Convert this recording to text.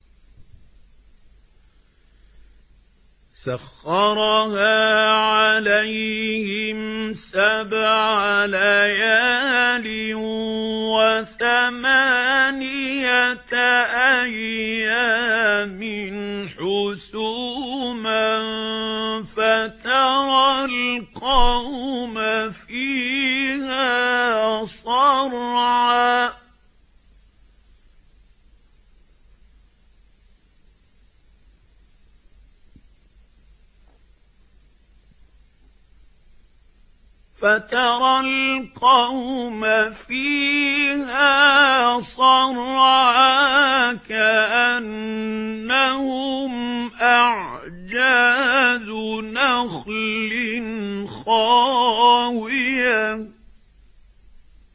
سَخَّرَهَا عَلَيْهِمْ سَبْعَ لَيَالٍ وَثَمَانِيَةَ أَيَّامٍ حُسُومًا فَتَرَى الْقَوْمَ فِيهَا صَرْعَىٰ كَأَنَّهُمْ أَعْجَازُ نَخْلٍ خَاوِيَةٍ